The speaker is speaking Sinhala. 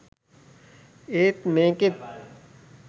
ඒත් මේකෙත්